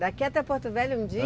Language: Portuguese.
Daqui até Porto Velho um dia?